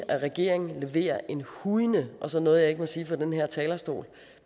at regeringen leverer en hujende og så noget jeg ikke må sige fra den her talerstol